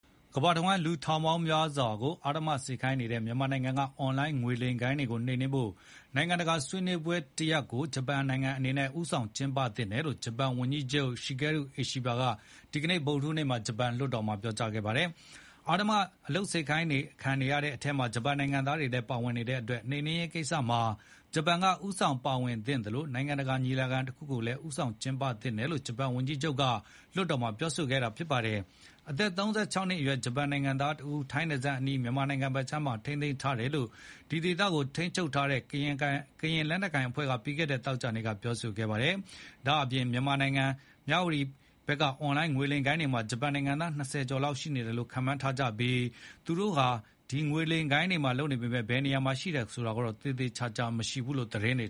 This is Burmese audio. ကမ္ဘာတဝှမ်းက လူထောင်ပေါင်းများစွာကို အဓမ္မခိုင်းစေနေတဲ့ မြန်မာနိုင်ငံက အွန်လိုင်းငွေလိမ်ဂိုဏ်း တွေကိုနှိမ်နင်းဖို့ နိုင်ငံတကာဆွေးနွေးပွဲတရပ်ကို ဂျပန်အနေနဲ့ ဦးဆောင်ကျင်းပသင့်တယ်လို့ ဂျပန် ဝန်ကြီးချုပ် Shigeru Ishiba ကဒီကနေ့ ဗုဒ္ဓဟူးနေ့ ဂျပန်လွှတ်တော်မှာတင်ပြခဲ့ပါတယ်။ အဓမ္မအလုပ်ခိုင်းစေခံနေရတဲ့အထဲမှာ ဂျပန်နိုင်ငံသားတွေလည်းပါဝင်နေတဲ့အတွက် နှိမ်နင်းရေးကိစ္စမှာ ဂျပန်က ဦးဆောင်ပါဝင်သင့်သလို နိုင်ငံတကာညီလာခံတခုကိုလည်း ဦးဆောင်ကျင်းပသင့်တယ်လို့ ဂျပန်ဝန်ကြီးချုပ်က ဒီကနေ့ လွှတ်တော်မှာပြောကြားခဲ့တာပါ။ အသက် ၃၆ နှစ်အရွယ် ဂျပန်နိုင်ငံသား တဦး ထိုင်းနယ်စပ်အနီး မြန်မာနိုင်ငံဘက်မှာ ထိန်းသိမ်းထားတယ်လို့ ဒီဒေသကို ထိန်းချုပ်ထားတဲ့ ကရင်လက်နက်ကိုင်အဖွဲ့က ပြီးခဲ့တဲ့သောကြာနေ့က ပြောခဲ့ပါတယ်။ ဒါ့ပြင် မြန်မာနိုင်ငံ မြဝတီဘက်က အွန်လိုင်းငွေလိမ်ဂိုဏ်းတွေမှာ ဂျပန်နိုင်ငံသား ( ၂၀) ကျော် လောက်ရှိနေတယ်လို့ ခန့်မှန်းထားကြပြီး ဒီငွေလိမ်လုပ်ငန်းတွေဟာ ဘယ်နားမှာရှိတယ်ဆိုတာကိုတော့ သေချာမသိရဘူးလို့ သတင်းတ